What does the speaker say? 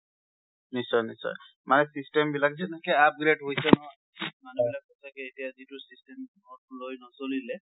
নিশ্চিয়, নিশ্চিয়। মানে system বিলাক যেনেকে upgrade হৈছে নহয়, মানুহবিলাক চাগে এটিয়া যিটো system অক লৈ নছলিলে